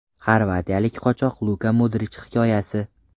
Xorvatiyalik qochoq Luka Modrich hikoyasi.